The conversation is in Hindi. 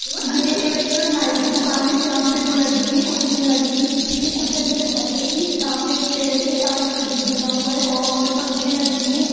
ये एक नाई की दुकान है जहां पे वो लगी है कुर्सियाँ लगी है पीछे भी एक कुर्सी लगी है जो कत्थई कलर की सामने एक पेड़ है कांच का गेट बना हुआ है और पंखे लगे हैं।